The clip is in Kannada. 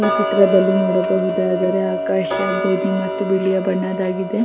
ಈ ಚಿತ್ರದಲ್ಲಿ ನೋಡಬಹುದಾದರೆ ಆಕಾಶ ಬೂದಿ ಮತ್ತು ಬಿಳಿಯ ಬಣ್ಣದಾಗಿದೆ.